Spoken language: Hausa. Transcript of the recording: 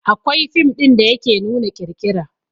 Akwai fim da yake nuna ƙirƙira